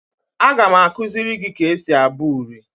Aga m akuziri gi ka esi abu uri